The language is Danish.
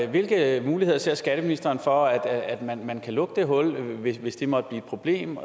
hvilke muligheder ser skatteministeren for at at man kan lukke det hul hvis hvis det måtte blive et problem